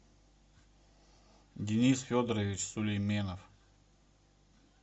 денис федорович сулейменов